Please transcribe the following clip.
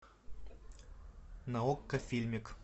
на окко фильмик